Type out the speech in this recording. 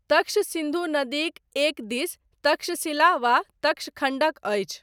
तक्ष सिन्धु नदीक एकदिस तक्षशिला वा तक्षखण्डक अछि।